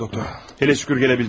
Ah, doktor, hələ şükür gələ bildiniz.